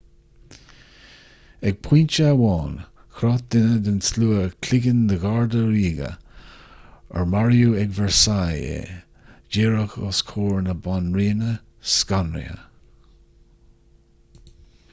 ag pointe amháin chroith duine den tslua cloigeann de gharda ríoga ar maraíodh ag versailles é díreach os comhair na banríona scanraithe